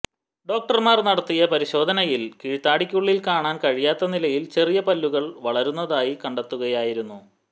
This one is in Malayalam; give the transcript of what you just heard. ഡോക്ടർമാർ നടത്തിയ പരിശോധനയിൽ കീഴ്താടിക്കുള്ളിൽ കാണാൻ കഴിയാത്ത നിലയിൽ ചെറിയ പല്ലുകൾ വളരുന്നതായി കണ്ടെത്തുകയായിരുന്നു